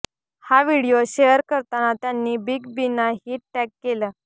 हा video share करताना त्यांनी बिग बींना ही टॅग केलं